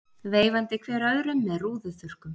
Veifandi hver öðrum með rúðuþurrkum.